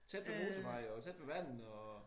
Tæt ved motorvej og tæt ved vandet og